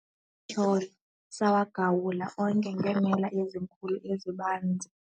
Amatyholo sawagawula onke ngeemela ezinkulu ezibanzi.